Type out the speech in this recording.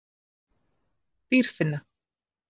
Dýrfinna